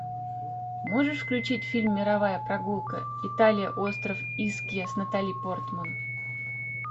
можешь включить фильм мировая прогулка италия остров искья с натали портман